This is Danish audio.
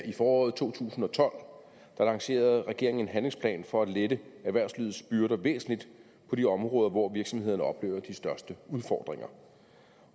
i foråret to tusind og tolv lancerede regeringen en handlingsplan for at lette erhvervslivets byrder væsentligt på de områder hvor virksomhederne oplever de største udfordringer